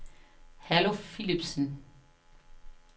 Herluf Philipsen